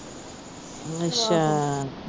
ਅੱਛਾ।